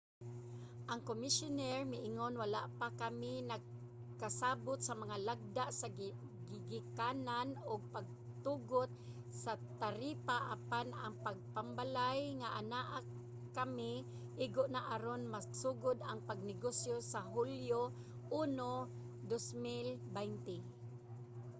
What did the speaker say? ang komisyoner miingon wala pa kami nagkasabut sa mga lagda sa gigikanan ug pagtugot sa taripa apan ang gambalay nga anaa kami igo na aron magsugod ang pagnegosyo sa hulyo 1 2020